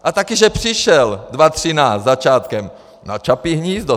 A taky že přišel, 2013, začátkem, na Čapí hnízdo.